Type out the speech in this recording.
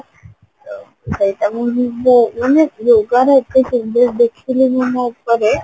ସେଇଟା ମୁଁ ନିଜେ yogaରେ ଏତେ ସୁନ୍ଦର ଦେଖିଲି ମୁଁ ମୋ ଉପରେ